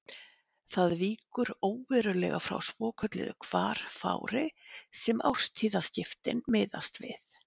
Það víkur óverulega frá svokölluðu hvarfári sem árstíðaskiptin miðast við.